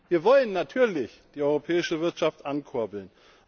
Wir wollen natürlich die europäische Wirtschaft ankurbeln.